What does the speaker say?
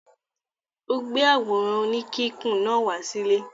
Ó gbé àwòrán oníkíkùn náà wá sílé?